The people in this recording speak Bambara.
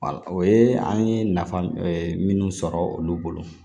o ye an ye nafa minnu sɔrɔ olu bolo